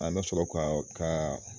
An bɛ sɔrɔ k'a k'a